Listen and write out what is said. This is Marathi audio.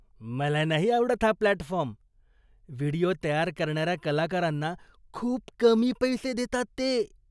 मला नाही आवडत हा प्लॅटफॉर्म. व्हिडिओ तयार करणाऱ्या कलाकारांना खूप कमी पैसे देतात ते.